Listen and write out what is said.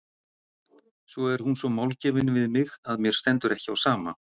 Svo er hún svo málgefin við mig að mér stendur ekki á sama.